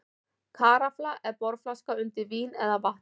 Karafla er borðflaska undir vín eða vatn.